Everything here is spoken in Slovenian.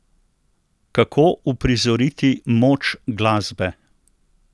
Kako uprizoriti moč glasbe?